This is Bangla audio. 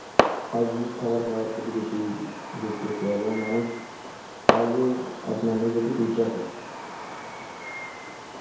hygienic খাবার খাওয়ার প্রতি বেশি ঝুঁকতেছে এবং মানুষ সহজেই আপনার নিজেকে fit রাখে